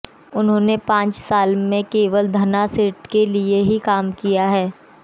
उन्होंने पांच साल में केवल धन्नासेठों के लिए ही काम किया है